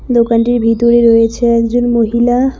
দোকানটির ভিতরে রয়েছে একজন মহিলা।